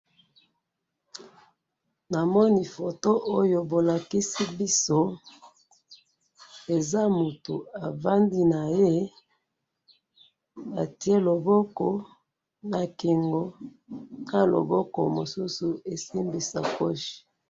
Photo na moni , mwasi afandi naye, ati loboko na kingo, mususu esimbi sakosi na ye, azo seka.